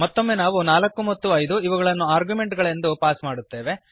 ಮತ್ತೊಮ್ಮೆ ನಾವು 4 ಮತ್ತು 5 ಇವುಗಳನ್ನು ಆರ್ಗ್ಯುಮೆಂಟ್ ಗಳೆಂದು ಪಾಸ್ ಮಾಡುತ್ತೇವೆ